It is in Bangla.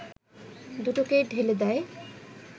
দুটোকেই ঢেলে দেয়